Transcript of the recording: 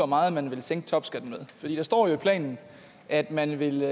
meget man vil sænke topskatten med for der står jo i planen at man vil